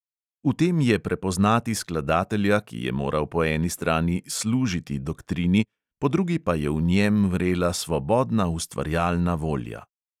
V tem je prepoznati skladatelja, ki je moral po eni strani "služiti" doktrini, po drugi pa je v njem vrela svobodna ustvarjalna volja.